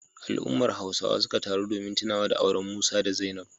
Al'ummar Hausawa suka taru domin tunawa da auren Musa da Zainab.